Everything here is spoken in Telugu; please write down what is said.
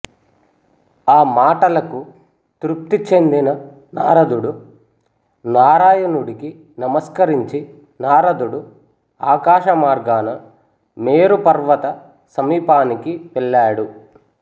ఆ మాటలకు తృప్తి చెందిన నారదుడు నారాయణుడికి నమస్కరించి నారదుడు ఆకాశమార్గాన మేరుపర్వత సమీపానికి వెళ్ళాడు